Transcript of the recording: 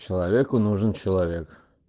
человеку нужен человек